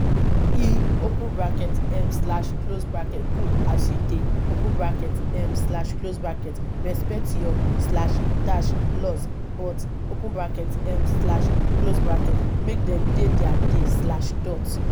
e open bracket um slash close bracket good as you dey open bracket um slash close bracket respect your slash dash laws but open bracket um slash close bracket make dem dey their dey slash dot